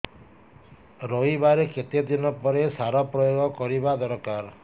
ରୋଈବା ର କେତେ ଦିନ ପରେ ସାର ପ୍ରୋୟାଗ କରିବା ଦରକାର